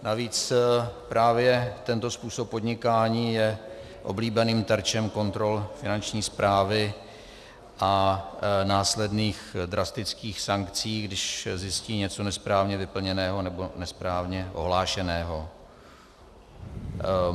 Navíc právě tento způsob podnikání je oblíbeným terčem kontrol Finanční správy a následných drastických sankcí, když zjistí něco nesprávně vyplněného nebo nesprávně ohlášeného.